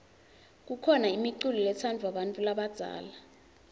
kukhona imiculo letsandvwa bantfu labadzala